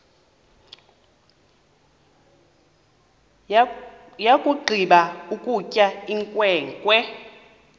yakugqiba ukutya inkwenkwe